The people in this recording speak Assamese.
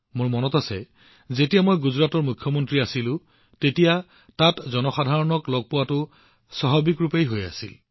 মোৰ মনত আছে যেতিয়া মই গুজৰাটৰ মুখ্যমন্ত্ৰী আছিলোঁ তেতিয়া তাত থকা সাধাৰণ লোকসকলক লগ কৰা আৰু বাৰ্তালাপ কৰাটো এটা স্বাভাৱিক প্ৰক্ৰিয়া আছিল